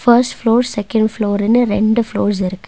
First floor second ஃப்ளோர்னு ரெண்டு floors இருக்கு.